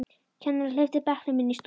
Kennarinn hleypti bekknum inn í stofu.